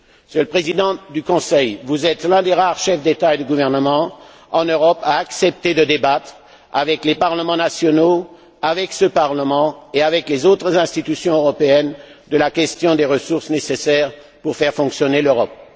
Monsieur le Président du Conseil, vous êtes l'un des rares chefs d'État et de gouvernement en Europe à accepter de débattre avec les parlements nationaux, avec ce Parlement et avec les autres institutions européennes, de la question des ressources nécessaires pour faire fonctionner l'Europe.